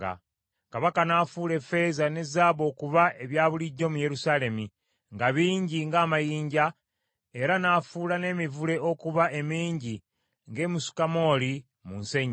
Kabaka n’afuula effeeza ne zaabu okuba ebyabulijjo mu Yerusaalemi, nga bingi ng’amayinja; era n’afuula n’emivule okuba emingi ng’emisukamooli mu nsenyi.